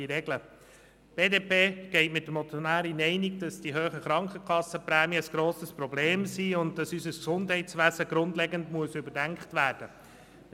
Die BDP-Fraktion geht mit der Motionärin einig, dass die hohen Krankenkassenprämien ein grosses Problem sind und dass unser Gesundheitswesen grundlegend überdacht werden muss.